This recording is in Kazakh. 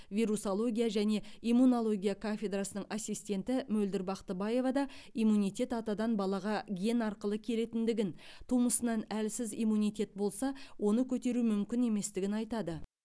вирусология және иммунология кафедрасының ассистенті мөлдір бақтыбаевада иммунитет атадан балаға ген арқылы келетіндігін тумысынан әлсіз иммунитет болса оны көтеру мүмкін еместігін айтады